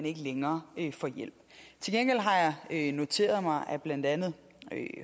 ikke længere kan få hjælp til gengæld har jeg jeg noteret mig at blandt andet